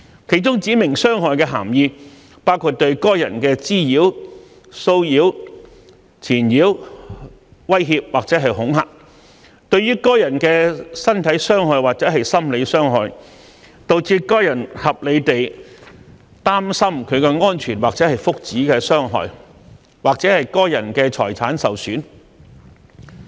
其中"指明傷害"的涵義包括對該人的滋擾、騷擾、纏擾、威脅或恐嚇；對該人的身體傷害或心理傷害；導致該人合理地擔心其安全或福祉的傷害；或該人的財產受損。